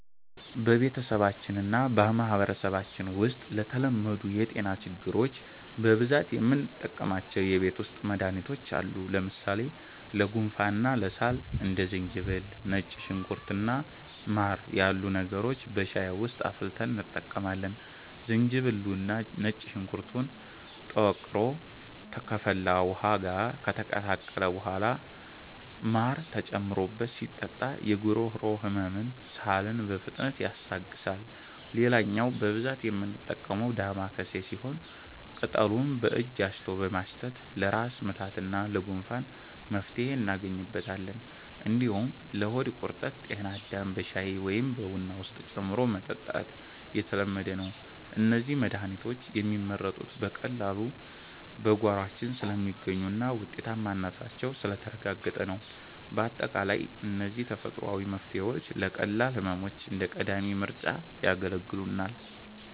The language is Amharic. በቤተሰባችንና በማህበረሰባችን ውስጥ ለተለመዱ የጤና ችግሮች በብዛት የምንጠቀማቸው የቤት ውስጥ መድሃኒቶች አሉ። ለምሳሌ ለጉንፋንና ለሳል እንደ ዝንጅብል፣ ነጭ ሽንኩርት እና ማር ያሉ ነገሮችን በሻይ ውስጥ አፍልተን እንጠቀማለን። ዝንጅብሉና ነጭ ሽንኩርቱ ተወቅሮ ከፈላ ውሃ ጋር ከተቀላቀለ በኋላ ማር ተጨምሮበት ሲጠጣ የጉሮሮ ህመምንና ሳልን በፍጥነት ያስታግሳል። ሌላኛው በብዛት የምንጠቀመው 'ዳማከሴ' ሲሆን፣ ቅጠሉን በእጅ አሽቶ በማሽተት ለራስ ምታትና ለጉንፋን መፍትሄ እናገኝበታለን። እንዲሁም ለሆድ ቁርጠት 'ጤናዳም' በሻይ ወይም በቡና ውስጥ ጨምሮ መጠጣት የተለመደ ነው። እነዚህ መድሃኒቶች የሚመረጡት በቀላሉ በጓሯችን ስለሚገኙና ውጤታማነታቸው ስለተረጋገጠ ነው። ባጠቃላይ እነዚህ ተፈጥሯዊ መፍትሄዎች ለቀላል ህመሞች እንደ ቀዳሚ ምርጫ ያገለግሉናል።